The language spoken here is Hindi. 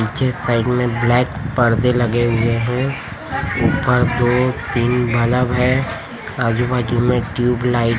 पीछे साइड में ब्लैक पर्दे लगे हुए है ऊपर दो तीन बल्ब है आजू-बाजू में ट्यूबलाइट --